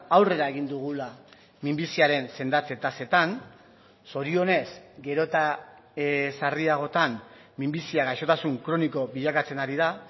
aurrera egin dugula minbiziaren sendatze tasetan zorionez gero eta sarriagotan minbizia gaixotasun kroniko bilakatzen ari da